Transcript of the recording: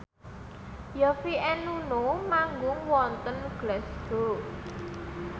Yovie and Nuno manggung wonten Glasgow